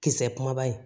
Kisɛ kumaba in